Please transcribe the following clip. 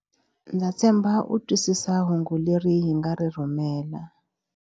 Ndza tshemba u twisisa hungu leri hi nga ri rhumela.